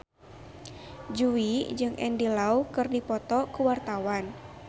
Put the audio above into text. Jui jeung Andy Lau keur dipoto ku wartawan